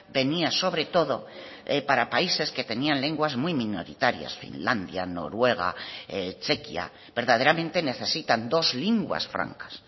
venía sobre todo para países que tenían lenguas muy minoritarias finlandia noruega chequia verdaderamente necesitan dos linguas francas